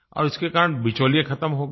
और उसके कारण बिचौलिये ख़त्म हो गए